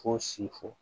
Fo sifɔ